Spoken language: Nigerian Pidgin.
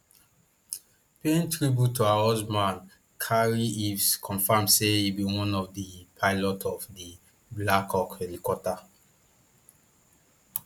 paying tribute to her husband carrie eaves confam say e be one of di pilots of di blackhawk helicopter